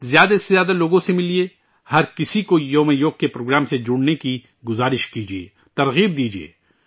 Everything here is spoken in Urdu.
زیادہ سے زیادہ لوگوں سے ملئے، ہر کسی کو یوگ دیوس کے پروگرام میں شامل ہونے کے لئے درخواست کیجئے، حوصلہ افزائی کیجئے